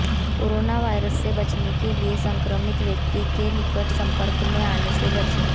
corona virus से बचने के लिये संक्रमित व्यक्ति के निकट संपर्क में आने से बचें